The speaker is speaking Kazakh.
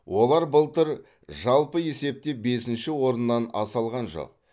олар былтыр жалпы есепте бесінші орыннан аса алған жоқ